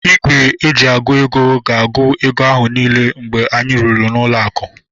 Igwe eji agụ ego gs-agu ego ahu niile mgbe anyị rụrụ ụlọ aku